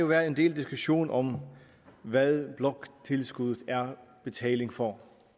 været en del diskussion om hvad bloktilskuddet er betaling for